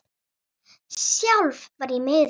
Sjálf var ég miður mín.